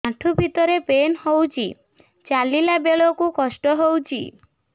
ଆଣ୍ଠୁ ଭିତରେ ପେନ୍ ହଉଚି ଚାଲିଲା ବେଳକୁ କଷ୍ଟ ହଉଚି